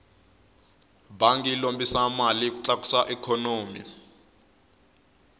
bangi yi lombisa mali ku tlakusa ikhonomi